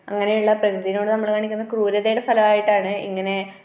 അങ്ങനെയുള്ള പ്രകൃതിയോട് നമ്മൾ കാണിക്കുന്ന ക്രൂരതയുടെ ഫലമായിട്ടാണ് ഇങ്ങനെ